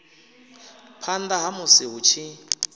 phanḓa ha musi hu tshi